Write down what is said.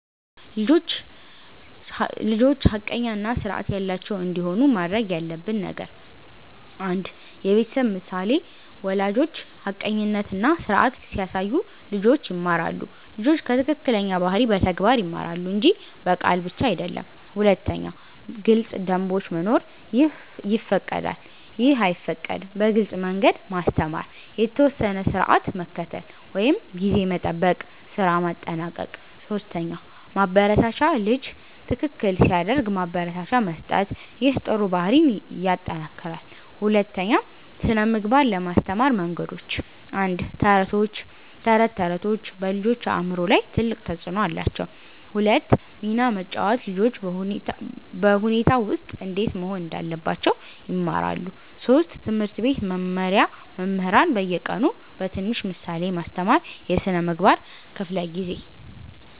1) ልጆች ሐቀኛ እና ስርዓት ያላቸው እንዲሆኑ ማድረግ ያለብን ነገር 1. የቤተሰብ ምሳሌ ወላጆች ሐቀኝነት እና ስርዓት ሲያሳዩ ልጆች ይማራሉ ልጆች ከትክክለኛ ባህሪ በተግባር ይማራሉ እንጂ በቃል ብቻ አይደለም 2. ግልጽ ደንቦች መኖር “ይህ ይፈቀዳል / ይህ አይፈቀድም” በግልጽ መንገድ ማስተማር የተወሰነ ስርዓት መከተል (ጊዜ መጠበቅ፣ ስራ ማጠናቀቅ 3 ማበረታቻ ልጅ ትክክል ሲያደርግ ማበረታቻ መስጠት ይህ ጥሩ ባህሪን ይጠናክራል 2) ስነ ምግባር ለማስተማር መንገዶች 1. ተረቶች ተረቶች በልጆች አእምሮ ላይ ትልቅ ተፅዕኖ አላቸው 2 ሚና መጫወት ልጆች በሁኔታ ውስጥ እንዴት መሆን እንዳለባቸው ይማራሉ 3. ትምህርት ቤት መመሪያ መምህራን በየቀኑ በትንሽ ምሳሌ ማስተማር የስነ ምግባር ክፍለ ጊዜ